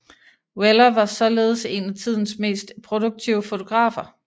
Weller var således en af tidens mest produktive fotografer